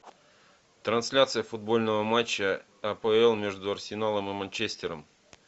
трансляция футбольного матча апл между арсеналом и манчестером